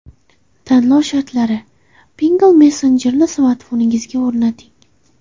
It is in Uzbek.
Tanlov shartlari: Pinngle messenjerini smartfoningizga o‘rnating.